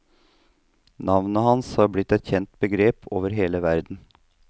Navnet hans har blitt et kjent begrep over hele verden.